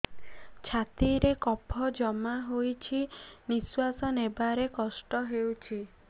ଛାତିରେ କଫ ଜମା ହୋଇଛି ନିଶ୍ୱାସ ନେବାରେ କଷ୍ଟ ହେଉଛି